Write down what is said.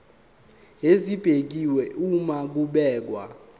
esibekiwe uma kubhekwa